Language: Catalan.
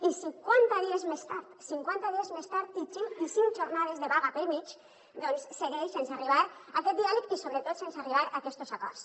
i cinquanta dies més tard cinquanta dies més tard i cinc jornades de vaga pel mig doncs segueix sense arribar aquest diàleg i sobretot sense arribar aquestos acords